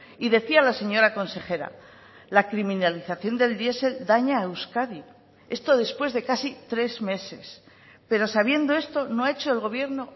y decía la señora consejera la criminalización del diesel daña a euskadi esto después de casi tres meses pero sabiendo esto no ha hecho el gobierno